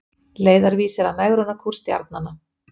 Leiðarvísir að megrunarkúr stjarnanna